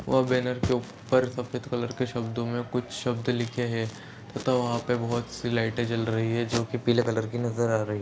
वो बैनर के ऊपर सफेद कलर के शब्दों मे कुछ शब्द लिखे है तथा वहाँ पे बहुत सी लाइटे जल रही है जोकि पीले कलर की नजर आ रही है।